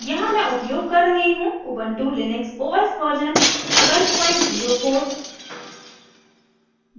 यहाँ हम उपयोग कर रहे हैं ubuntu लिनक्स os version 1204